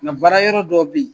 N ŋa baara yɔrɔ dɔw bɛ yen